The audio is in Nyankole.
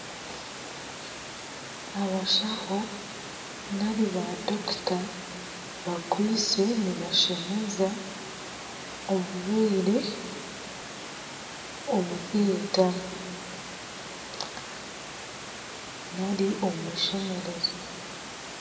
Abashaho bakwaitse nibashemeza omurwaire omu ishemerezo.